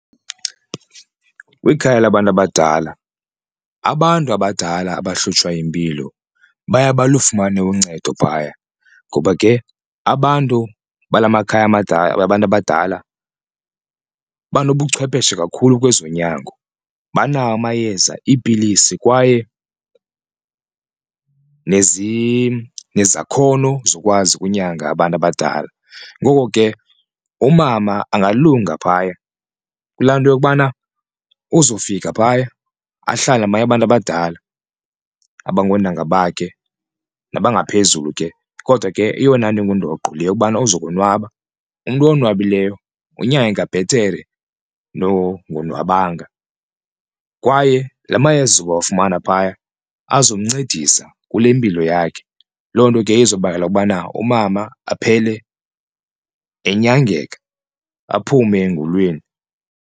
Kwikhaya labantu abadala abantu abadala abahlutshwa yimpilo baye balufumane uncedo phaya ngoba ke abantu bala makhaya mabadala wabantu abadala banobuchwepheshe kakhulu kwezonyango, banawo amayeza iipilisi kwaye nezakhono zokwazi ukunyanga abantu abadala. Ngoko ke umama angalunga phaya kulaa nto yokubana uzofika phaya ahlale nabanye abantu abadala abangoontanga bakhe nabangaphezulu ke kodwa ke eyona nto ingundoqo yile yokubana uzokonwaba, umntu owonwabileyo unyangeka bhetere nongonwabanga kwaye la mayeza uwafumana phaya azokumncedisa kule mpilo yakhe loo nto ke izobangela ukubana umama aphele enyangeka aphume engulweni.